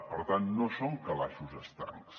per tant no són calaixos estancs